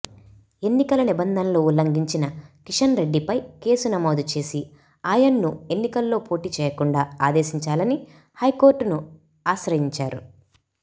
ఎన్నికల నిబంధనలు ఉల్లంఘించిన కిషన్ రెడ్డిపై కేసు నమోదు చేసి ఆయన్ను ఎన్నికల్లో పోటి చేయకుండా ఆదేశించాలని హైకోర్టును ఆశ్రయించారు